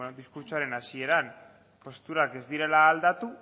diskurtsoaren hasieran posturak ez direla aldatu